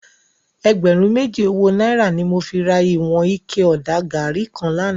Ègbèrún méjí ówó nàírá ni mó fi rá iwòn iké òdá gàrí kán làná